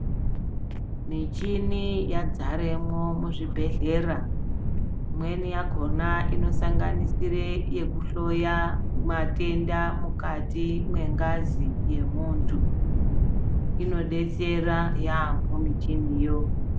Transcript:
Michini ya dzaremo muzvi bhedhlera imweni yakona ino sanganisire yeku dhloya matenda mukati me ngazi ye muntu ino betsera yambo michini yo.